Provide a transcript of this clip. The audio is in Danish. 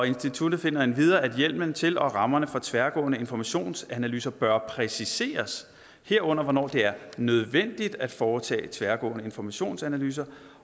instituttet finder endvidere at hjemmelen til og rammerne for tværgående informationsanalyser bør præciseres herunder hvornår det er nødvendigt at foretage tværgående informationsanalyser